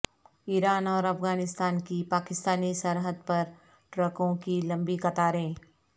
ایران اور افغانستان کی پاکستانی سرحد پر ٹرکوں کی لمبی قطاریں